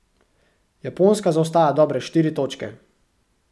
Japonska zaostaja dobre štiri točke.